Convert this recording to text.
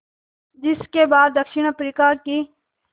जिस के बाद दक्षिण अफ्रीका की